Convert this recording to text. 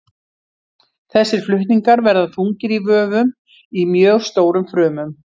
Þessir flutningar verða þungir í vöfum í mjög stórum frumum.